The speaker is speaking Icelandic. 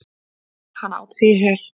Hann át sig í hel.